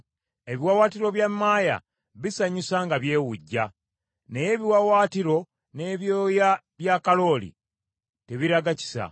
“Ebiwaawaatiro bya maaya bisanyusa nga byewujja, naye ebiwaawaatiro n’ebyoya bya kalooli tebiraga kisa.